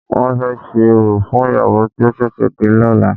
Wọ́n fẹ́ ṣe orò fún ìyàwó tí ó ṣẹ̀ṣẹ̀ dé lọ́la.